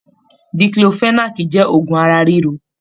Díkílofẹ̀nàákí jẹ òògùn ara riro.